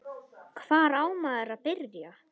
Hvar á maður að byrja?